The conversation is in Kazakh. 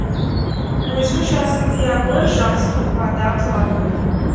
көзіңнің жасын тыя көр жақсылық бата қыла көр